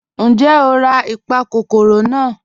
Ńjẹ́ o rà ipakòkòrò naa?